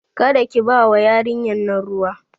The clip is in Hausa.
Karki bawa yarinyan nan ruwa